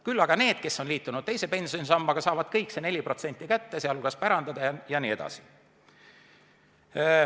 Küll aga need, kes on liitunud teise pensionisambaga, saavad selle 4% kätte, sh saavad pärandada jne.